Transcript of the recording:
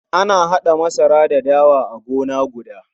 Ana haɗa masara da dawa a gona guda.